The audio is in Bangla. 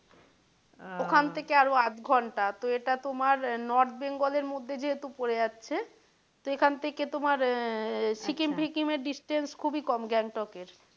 ওখান থেকে আরও আধ ঘণ্টা তো এটা তোমার north Bengal এর মধ্যে যেহেতু পড়ে যাচ্ছে তো এখান থেকে তোমার আহ সিকিম এর distance তোমার খুবই কম গ্যাংটক এর,